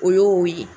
O y'o ye